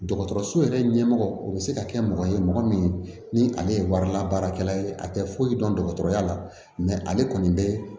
Dɔgɔtɔrɔso yɛrɛ ɲɛmɔgɔ o bɛ se ka kɛ mɔgɔ ye mɔgɔ min ni ale ye warilabaarakɛla ye a tɛ foyi dɔn ale kɔni bɛ